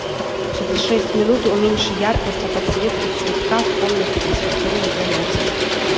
через шесть минут уменьши яркость на подсветке цветка в комнате для спортивных занятий